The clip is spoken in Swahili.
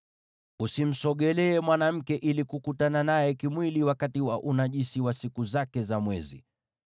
“ ‘Usimsogelee mwanamke ili kukutana naye kimwili wakati wa unajisi wa siku zake za mwezi.